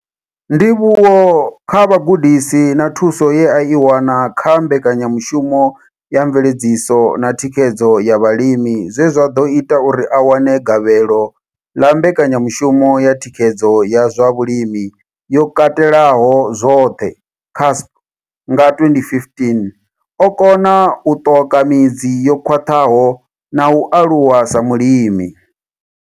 Ndivhuwo kha vhugudisi na thuso ye a i wana kha Mbekanya mushumo ya Mveledziso na Thikhedzo ya Vhalimi zwe zwa ḓo ita uri a wane gavhelo ḽa Mbekanya mushumo ya Thikhedzo ya zwa Vhulimi yo Katelaho zwoṱhe, CASP, nga 2015, o kona u ṱoka midzi yo khwaṱhaho na u aluwa sa mulimi.